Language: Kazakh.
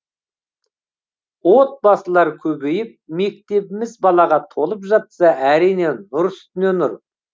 отбасылар көбейіп мектебіміз балаға толып жатса әрине нұр үстіне нұр